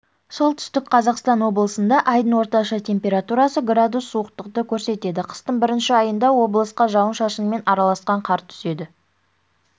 солтүстік қазақстан облысында айдың орташа температурасы градус суықтықты көрсетеді қыстың бірінші айында облысқа жауын-шашынмен араласқан қар түседі